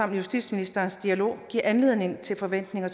og justitsministerens dialog giver anledning til forventninger